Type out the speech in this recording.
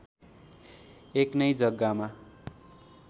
एक नै जग्गामा